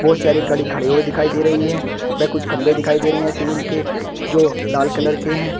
बहुत सारी गाड़ी खड़ी हुई दिखाई दे रही है व कुछ खंभे दिखाई दे रहे हैं सीमेंट के जो लाल कलर के हैं।